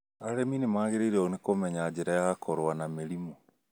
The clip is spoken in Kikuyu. Arĩmi nĩmagĩrĩirwo nĩ kũmenya njĩra ya kũrũa na mĩrimũ wĩ mĩrimũ